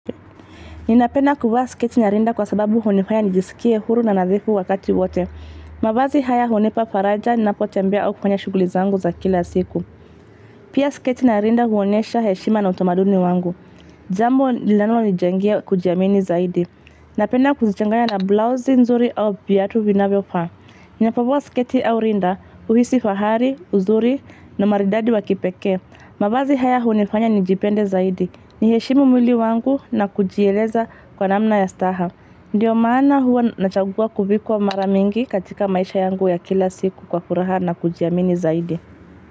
Ninapenda kuvaa sketi na rinda kwa sababu hunifanya nijisikie huru na nadhifu wakati wote. Mavazi haya hunipa faraja ninapotembea au kufanya shuguli zangu za kila siku. Pia sketi na rinda huonyesha heshima na utamaduni wangu. Jambo linala ninijengea kujiamini zaidi. Napena kuzichanganya na blause nzuri au viatu vinavyo faa. Ninapovaa sketi au rinda, uhisi fahari, uzuri, na maridadi wakipekee. Mabazi haya honifanya nijipende zaidi. Ni heshimu mwili wangu na kujieleza kwa namna ya staha. Ndiyo maana huwa nachagua kuvikwa mara mingi katika maisha yangu ya kila siku kwa kuraha na kujiamini zaidi.